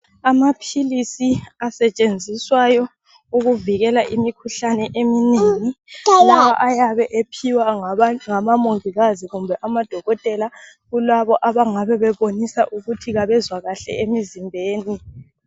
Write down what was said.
Amaphilisi asetshenziswayo ukuvikela imikhuhlane eminengi. Lawa ayabe ephiwa ngabomongikazi labodokotela kulabo abangabe bebonisa ukuthi kabezwa kuhle emizimbeni.